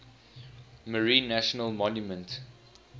marine national monument